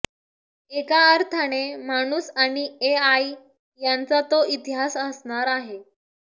एका अर्थाने माणूस आणि एआय यांचा तो इतिहास असणार आहे